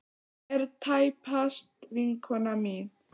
Hún er tæpast vinkona mín.